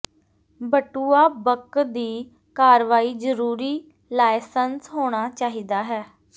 ਬਟੂਆ ਬਕ ਦੀ ਕਾਰਵਾਈ ਜ਼ਰੂਰੀ ਲਾਇਸੰਸ ਹੋਣਾ ਚਾਹੀਦਾ ਹੈ